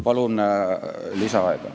Palun lisaaega!